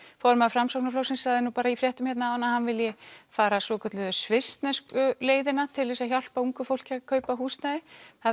formaður Framsóknarflokksins sagði nú í fréttum áðan að hann vilji fara svokölluðu svissnesku leiðina til þess að hjálpa ungu fólki að kaupa húsnæði